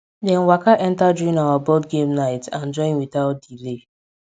dem waka enter during our board game night and join witout delay